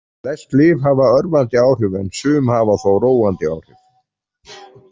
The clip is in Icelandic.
Flest lyf hafa örvandi áhrif en sum hafa þó róandi áhrif.